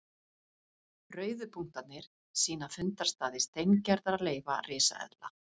Rauðu punktarnir sýna fundarstaði steingerðra leifa risaeðla.